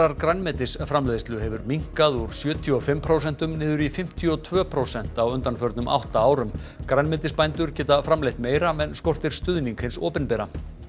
grænmetisframleiðslu hefur minnkað úr sjötíu og fimm prósentum niður í fimmtíu og tvö prósent á undanförnum átta árum grænmetisbændur geta framleitt meira en skortir stuðning hins opinbera